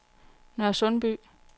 Nørresundby